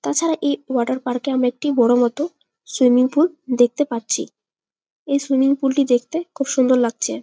তাছাড়া এই water park -এ আমরা একটি বড়ো মতো সুইমিং পুল দেখতে পাচ্ছি এই সুইমিং পুল -টি দেখতে খুব সুন্দর লাগছে।